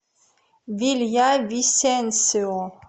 вильявисенсио